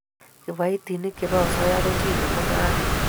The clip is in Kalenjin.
Kiboitinik chebo asoya kochile mung'aret